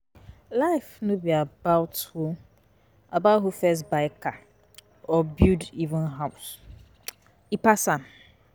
Life no be about who about who first buy car or build um house, e pass am.